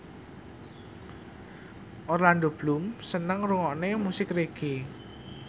Orlando Bloom seneng ngrungokne musik reggae